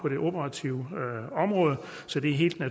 syv